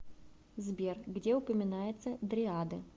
сбер где упоминается дриады